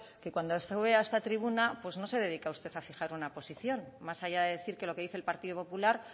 que cuando sube a esta tribuna pues no se dedica usted a fijar una posición más allá de decir que lo que dice el partido popular